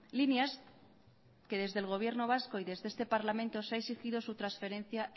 líneas que desde el gobierno vasco y desde este parlamento se ha exigido su transferencia